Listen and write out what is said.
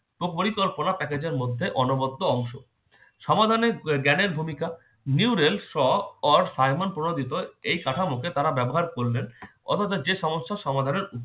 তো পরিকল্পনা package এর মধ্যে অনবরত অংশ সমাধানের জ্ঞানের ভূমিকা nuren saw saymon porapible এই শাঁখা মুখে তারা ব্যবহার করবেন অথচ যে সমস্যা সমাধানের